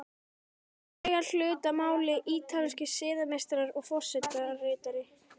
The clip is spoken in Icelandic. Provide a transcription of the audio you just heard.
Hér eiga hlut að máli ítalskir siðameistarar og forsetaritari.